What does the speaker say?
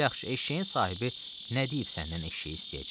Yaxşı, eşşəyin sahibi nə deyib səndən eşşək istəyəcək?